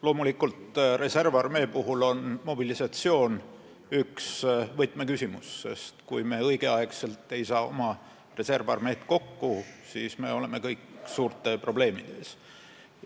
Loomulikult, reservarmee puhul on mobilisatsioon üks võtmeküsimusi, sest kui me õigel ajal ei saa reservarmeed kokku, siis oleme suurte probleemide ees.